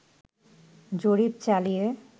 জরিপ চালিয়ে